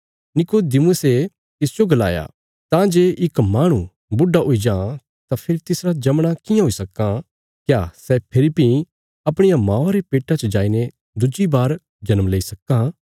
निकुदेमुसे तिसजो गलाया तां जे इक माहणु बुढा हुई जां तां फेरी तिसरा जमणा कियां हुई सक्कां क्या सै फेरी भीं अपणिया मौआ रे पेट्टा च जाईने दुज्जी बार जन्म लेई सक्कां